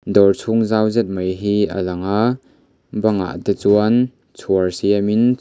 dawr chhung zau zet mai hi a lang a bangah te chuan chhuar siamin--